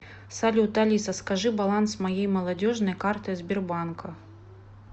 салют алиса скажи баланс моей молодежной карты сбербанка